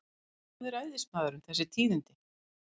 Hvaðan hafði ræðismaðurinn þessi tíðindi?